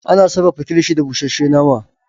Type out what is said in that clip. Ana sarafa kilishi da bushashe nama